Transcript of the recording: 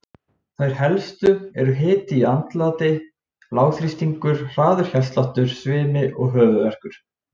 Þær helstu eru hiti í andliti, lágþrýstingur, hraður hjartsláttur, svimi og höfuðverkur.